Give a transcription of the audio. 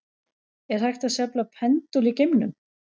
Er hægt að sveifla pendúl í geimnum?